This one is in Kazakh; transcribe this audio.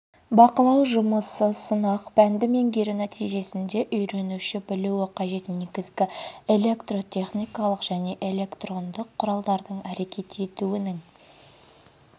бақылау жұмысы сынақ пәнді меңгеру нәтижесінде үйренуші білуі қажет негізгі электротехникалық және электрондық құралдардың әрекет етуінің